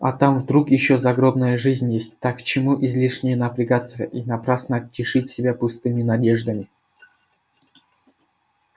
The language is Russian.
а там вдруг ещё загробная жизнь есть так к чему излишне напрягаться и напрасно тешить себя пустыми надеждами